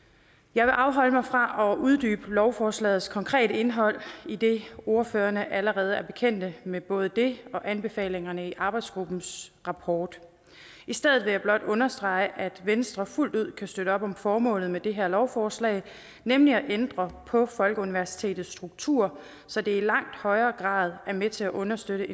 jeg vil afholde mig fra at uddybe lovforslagets konkrete indhold idet ordførerne allerede er bekendte med både det og anbefalingerne i arbejdsgruppens rapport i stedet vil jeg blot understrege at venstre fuldt ud kan støtte op om formålet med det her lovforslag nemlig at ændre på folkeuniversitetets struktur så det i langt højere grad er med til at understøtte